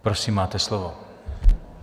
Prosím, máte slovo.